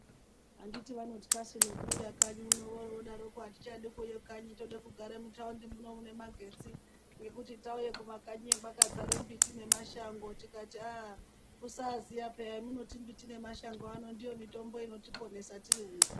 Anditi vanotkasu nekuuya kanyi uno oro odaroko atichadi kuuye kanyi tode kugara mutaundi muno mune magetsi ngekuti tauye kumakanyiyo kwakadzara mbiti nemashango tikatii aaa kusaziya peyaa yamunoti mbiti nemashango ano ndiyo mitombo inotiponesa tiri uno.